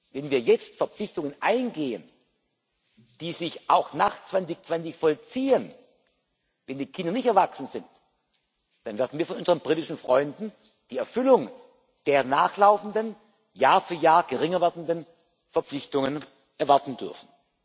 Wenn wir jetzt Verpflichtungen eingehen, die sich auch nach 2020 vollziehen, wenn die Kinder nicht erwachsen sind, dann werden wir von unseren britischen Freunden die Erfüllung der nachlaufenden, Jahr für Jahr geringer werdenden Verpflichtungen erwarten dürfen.